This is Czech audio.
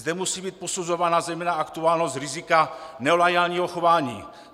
Zde musí být posuzována zejména aktuálnost rizika neloajálního chování.